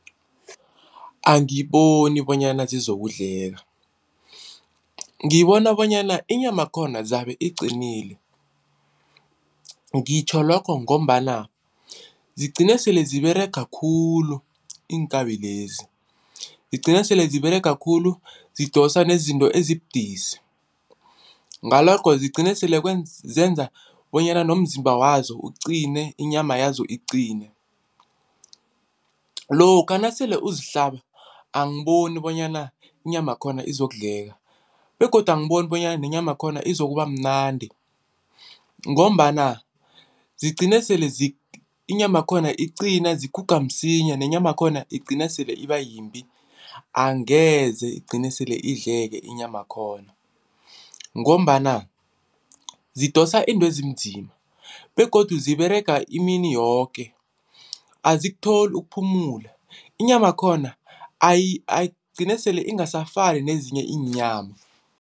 Angiboni bonyana zizokudleka, ngibona bonyana inyamakhona zabe iqinile ngitjho lokho ngombana zigcine sele ziberega khulu iinkabi lezi, zigcine sele ziberega khulu zidosa nezinto ezibudisi ngalokho zigcine sele zenza bonyana nomzimba wazo ugcine inyama yazo iqine. Lokha nasele uzihlaba angiboni bonyana inyamakhona izokudleka begodu angiboni bonyana nenyamakhona izokubamnandi ngombana zigcine sele inyamakhona iqina ziguga msinya nenyamakhona igcina sele ibayimbi, angeze igcine sele idleka inyamakhona ngombana zidosa intwezinzima begodu ziberega imini yoke azikutholi ukuphumula, inyamakhona igcine sele ingasafani nezinye iinyama.